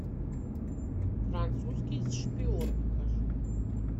французский шпион покажи